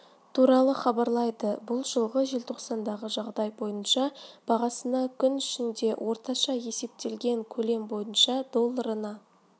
туралы хабарлайды бұл жылғы желтоқсандағы жағдай бойынша бағасына күн ішінде орташа есептелген көлем бойынша долларына